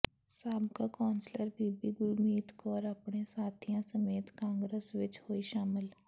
ਸਾਬਕਾ ਕੌਂਸਲਰ ਬੀਬੀ ਗੁਰਮੀਤ ਕੌਰ ਆਪਣੇ ਸਾਥੀਆਂ ਸਮੇਤ ਕਾਂਗਰਸ ਵਿਚ ਹੋਈ ਸ਼ਾਮਲ